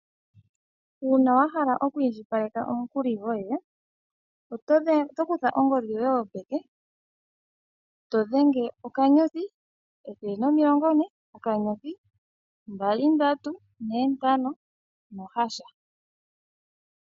Uuna wa hala okwiindjipaleka omukuli goye, oto kutha ongodhi yoye yopeke, to dhenge okanyothi, ethele nomilongo ne, okanyothi, mbali, ndatu, ne, ntano, nohasha.